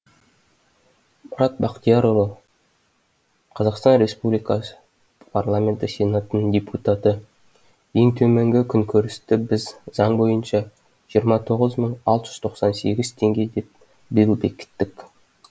мұрат бақтиярұлы қазақстан республикасы парламенті сенатының депутаты ең төменгі күнкөрісті біз заң бойынша жиырма тоғыз мың алты жүз тоқсан сегіз теңге деп биыл бекіттік